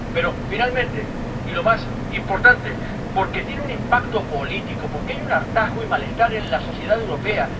Pero, finalmente, y lo más importante, porque tiene un impacto político, porque hay un hartazgo y malestar en la sociedad europea.